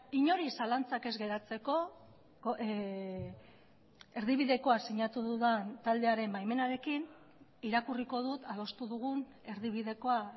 inori zalantzak ez geratzeko erdibidekoa sinatu dudan taldearen baimenarekin irakurriko dut adostu dugun erdibidekoa